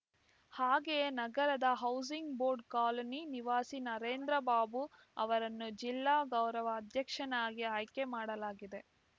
ಹಾಗೆಯೇ ನಗರದ housing board colony ನಿವಾಸಿ ನಾರೇಂದ್ರ ಬಾಬು ಅವರನ್ನು ಜಿಲ್ಲಾ ಗೌರವ ಅಧ್ಯಕ್ಷನ್ನಾಗಿ ಆಯ್ಕೆ ಮಾಡಲಾಗಿದೆ